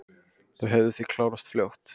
Þau hefðu því klárast fljótt